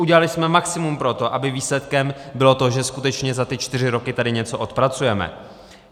Udělali jsme maximum pro to, aby výsledkem bylo to, že skutečně za ty čtyři roky tady něco odpracujeme.